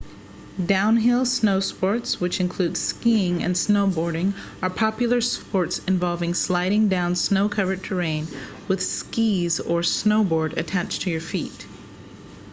downhill snowsports which include skiing and snowboarding are popular sports involving sliding down snow-covered terrain with skis or a snowboard attached to your feet